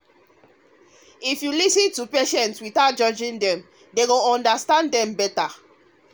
if you lis ten to patients without judging dem hospital go understand dem better.